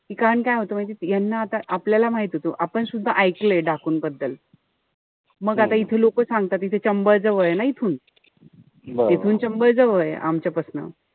कारण काय होत माहितीय, याना त आपल्याला माहित होत. आपण सुद्धा एकलेलंय डाकूंबद्दल. मग आता इथे लोक सांगतात. इथं चंबळ जवळ ए ना इथून. इथून चंबळ जवळ ए आमच्यापासन.